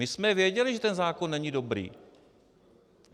My jsme věděli, že ten zákon není dobrý.